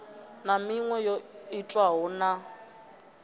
na miṅwe yo itwaho na